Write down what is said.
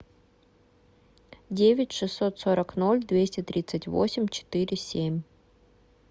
девять шестьсот сорок ноль двести тридцать восемь четыре семь